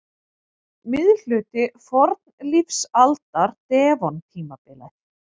Miðhluti fornlífsaldar- devon-tímabilið.